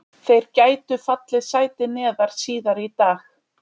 Þeir gætu fallið sæti neðar síðar í dag.